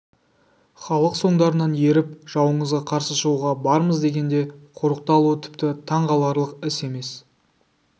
халық соңдарынан еріп жауыңызға қарсы шығуға бармыз дегенде қорықты алуы тіпті таң қаларлық іс емес